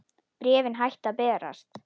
Bréfin hættu að berast.